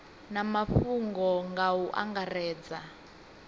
na mafhungo nga u angaredza